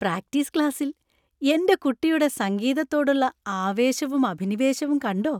Practice ക്ലാസ്സിൽ എന്‍റെ കുട്ടിയുടെ സംഗീതത്തോടുള്ള ആവേശവും അഭിനിവേശവും കണ്ടോ!